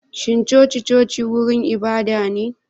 Shin coci-coci wurin ibada ne?